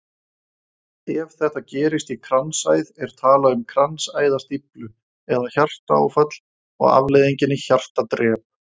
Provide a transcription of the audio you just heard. Ef þetta gerist í kransæð er talað um kransæðastíflu eða hjartaáfall og afleiðingin er hjartadrep.